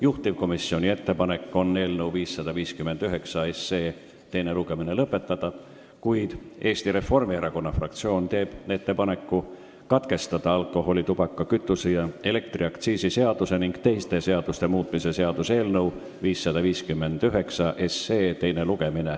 Juhtivkomisjoni ettepanek on eelnõu 559 teine lugemine lõpetada, kuid Eesti Reformierakonna fraktsioon teeb ettepaneku alkoholi-, tubaka-, kütuse- ja elektriaktsiisi seaduse ning teiste seaduste muutmise seaduse eelnõu teine lugemine katkestada.